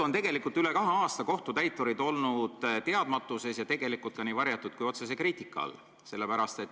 Üle kahe aasta on kohtutäiturid olnud teadmatuses ja tegelikult ka nii varjatud kui otsese kriitika all.